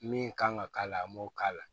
Min kan ka k'a la a m'o k'a la